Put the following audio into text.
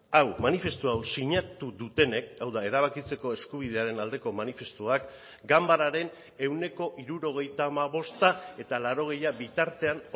hau manifestu hau sinatu dutenek hau da erabakitzeko eskubidearen aldeko manifestuak ganbararen ehuneko hirurogeita hamabosta eta laurogeia bitartean